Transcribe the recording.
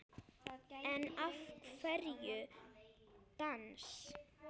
En af hverju dans?